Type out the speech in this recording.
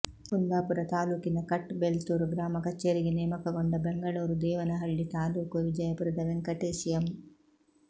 ಕುಂದಾಪುರ ತಾಲೂಕಿನ ಕಟ್ ಬೆಲ್ತೂರು ಗ್ರಾಮ ಕಚೇರಿಗೆ ನೇಮಕಗೊಂಡ ಬೆಂಗಳೂರು ದೇವನಹಳ್ಳಿ ತಾಲೂಕು ವಿಜಯಪುರದ ವೆಂಕಟೇಶ್ ಎಂ